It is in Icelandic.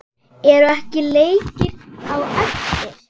Eru ekki leikir á eftir?